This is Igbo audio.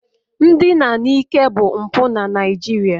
Ndina n'ike bụ mpụ na Naịjirịa